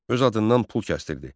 Öz adından pul kəsdirirdi.